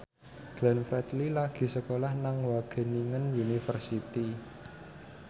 Glenn Fredly lagi sekolah nang Wageningen University